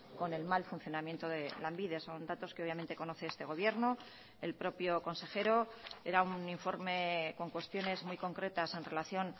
con el mal funcionamiento de lanbide son datos que obviamente conoce este gobierno el propio consejero era un informe con cuestiones muy concretas en relación